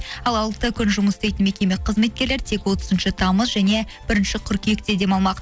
ал алты күн жұмыс істейтін мекеме қызметкерлері тек отызыншы тамыз және бірінші қыркүйекте демалмақ